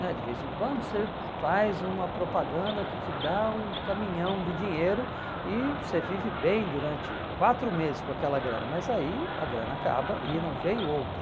né De vez em quando você faz uma propaganda que te dá um caminhão de dinheiro e você vive bem durante quatro meses com aquela grana, mas aí a grana acaba e não vem outro.